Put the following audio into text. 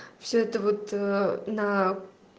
все это вот на